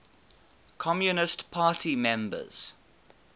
communist party members